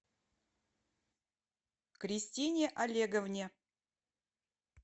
кристине олеговне